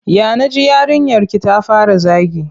Ya na ji yarinyarki ta fara zagi?